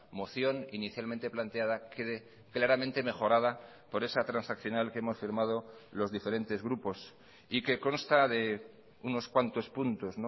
moción inicialmente planteada quede claramente mejorada por esa transaccional que hemos firmado los diferentes grupos y que consta de unos cuantos puntos